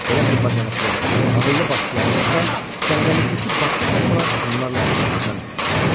Belə bir bacarıqlı, ağıllı başçıları olsa, cəngəllikdəki başqa tayfalar onlarla hesablaşardı.